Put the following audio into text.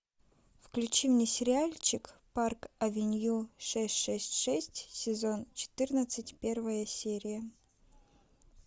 включи мне сериальчик парк авеню шесть шесть шесть сезон четырнадцать первая серия